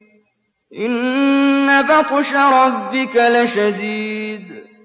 إِنَّ بَطْشَ رَبِّكَ لَشَدِيدٌ